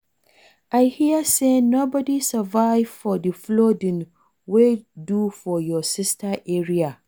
I hear say nobody survive for the flooding wey do for your sister area